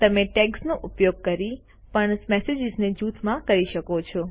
તમે ટૅગ્સનો ઉપયોગ કરીને પણ સમાન મેસેજીસ જૂથમાં કરી શકો છો